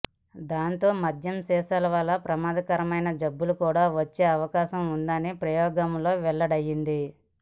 దాంతో మద్యం సీసాల వల్ల ప్రమాదకరమైన జబ్బులు కూడా వచ్చే అవకాశం ఉందని ప్రయోగంలో వెళ్లడయ్యింది